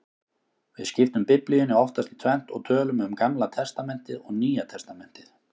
Við skiptum Biblíunni oftast í tvennt og tölum um Gamla testamentið og Nýja testamentið.